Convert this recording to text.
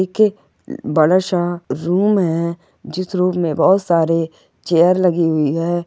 एक एक बड़ाशा रूम है जिस रूम मे बहुत सारे चेयर लगी हुई है।